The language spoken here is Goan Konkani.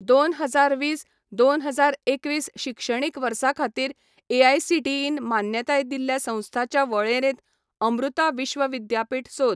दोन हजार वीस, दोन हजार एकवीस शिक्षणीक वर्सा खातीर एआयसीटीईन मान्यताय दिल्ल्या संस्थांच्या वळेरेंत अमृता विश्व विद्यापीठ सोद.